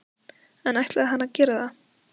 En ætlaði hann að gera það?